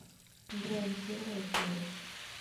дрянь первая серия